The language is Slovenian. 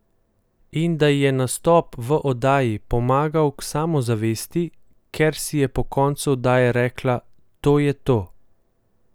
In da ji je nastop v oddaji pomagal k samozavesti, ker si je po koncu oddaje rekla: 'To je to.